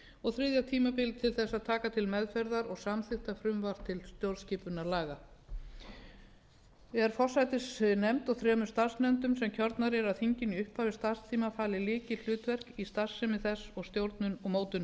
og þriðja tímabilið til þess að taka til meðferðar og samþykkja frumvarp til stjórnarskipunarlaga er forsætisnefnd og þremur starfsnefndum sem kjörnar eru af þinginu í upphafi starfstímans falið lykilhlutverk í starfsemi þess og stjórnun og mótun